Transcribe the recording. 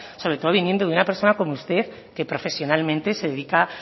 sobre todo viniendo de una personas como usted que profesionalmente se dedica